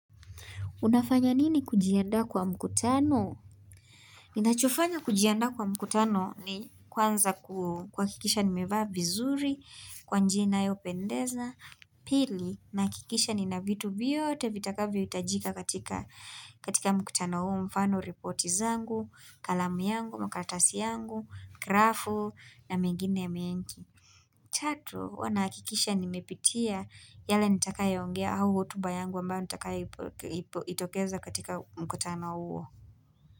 Unafanya nini kujiandaa kwa mkutano? Ninachofanya kujiandaa kwa mkutano ni kwanza kua kikisha ni mevaa vizuri, kwa njia inayo pendeza, pili, naakikisha ni na vitu vyoote vitakavyo itajika katika mkutano huo mfano reporti zangu, kalamu yangu, makaratasi yangu, grafu na mengine menki. Tatu, huwa naakikisha nimepitia yale nitakayoongea au hotuba yangu ambayo nitakayo itokeza katika mkutano huo.